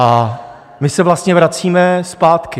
A my se vlastně vracíme zpátky.